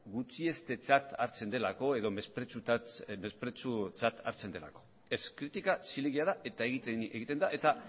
gutxiestetzat hartzen delako edo mesprezutzat hartzen delako ez kritika zilegia da eta egin egiten da eta